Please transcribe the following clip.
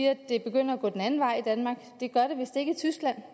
at det begynder at gå den anden vej i danmark det gør det vist ikke i tyskland